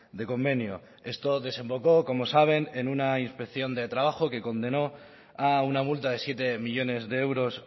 de convenio esto desemboco como saben en una inspección de trabajo que condenó a una multa de siete millónes de euros